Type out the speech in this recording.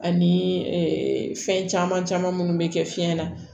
Ani fɛn caman caman minnu bɛ kɛ fiɲɛ na